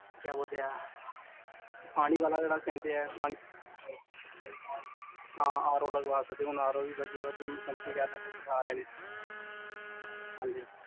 ਕੀ ਬੋਲਦੇ ਆ, ਪਾਣੀ ਵਾਲਾ ਜੇਹੜਾ ਕਹੰਦੇ ਆ ਪਾਣੀ ਵਾਲਾ, ਹਾਂ RO ਲਗਵਾ ਸਕਦੇ ਆ ਹੁਣ RO ਵੀ ਵਦੀਆਂ ਵਦੀਆਂ ਕੰਪਨੀ ਦੇ ਆਰੇ ਨੇ ਹਾਂਜੀ